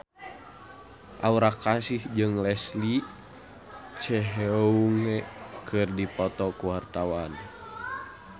Aura Kasih jeung Leslie Cheung keur dipoto ku wartawan